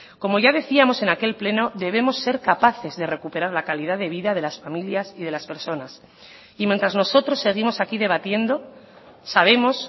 como ya decíamos en aquel pleno debemos ser capaces de recuperar la calidad de vida de las familias y de las personas y mientras nosotros seguimos aquí debatiendo sabemos